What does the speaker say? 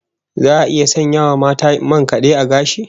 Za a iya sanya wa mata man kad'e a gashi?